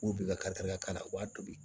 U bɛ ka kari ka k'a la u b'a tobi